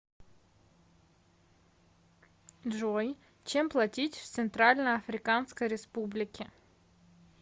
джой чем платить в центральноафриканской республике